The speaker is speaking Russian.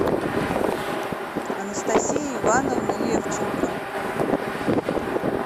анастасии ивановны левченко